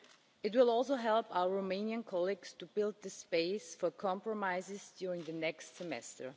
It will also help our Romanian colleagues to build the space for compromises during the next semester.